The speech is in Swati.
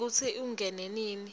ngekutsi ungene nini